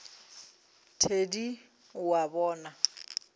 thedi na o a bona